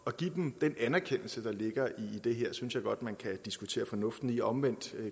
at give dem den anerkendelse der ligger i det her synes jeg godt man kan diskutere fornuften i og omvendt